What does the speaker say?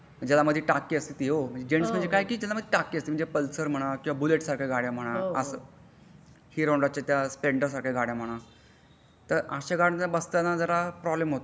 ज्यामध्ये टाकी असती ओ म्हणजे जेन्टस म्हणजे काय टाकी असती म्हणजे पल्सार म्हणा किंवा बुलेट सारख्या गाड्या म्हणा असा हिरो होंडाचा त्या स्प्लेंडर सारख्या गाड्या म्हणा तर अश्या गाड्यांवर बसताना जरा प्रॉब्लेम होतो.